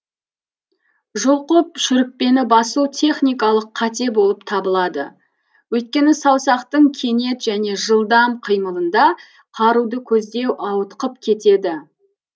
жұлқып шүріппені басу техникалық қате болып табылады өйткені саусақтың кенет және жылдам қимылында қаруды көздеу ауытқып кетеді